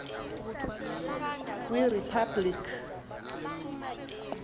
kwiriphabliki